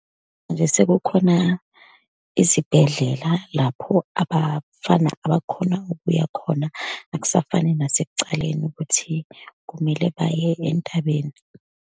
Manje sekukhona izibhedlela lapho abafana abakhona ukuya khona, akusafani nasekucaleni ukuthi kumele baye entabeni.